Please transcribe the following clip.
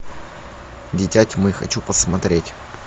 дитя тьмы хочу посмотреть